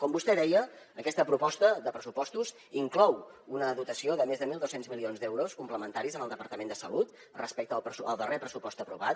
com vostè deia aquesta proposta de pressupostos inclou una dotació de més de mil dos cents milions d’euros complementaris al departament de salut respecte al darrer pressupost aprovat